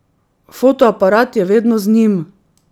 Fotoaparat je vedno z njim.